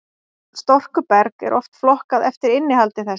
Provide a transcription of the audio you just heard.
storkuberg er oft flokkað eftir innihaldi þess